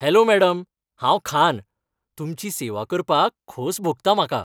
Hello madam, हांव खान, तुमची सेवा करपाक खोस भोगता म्हाका.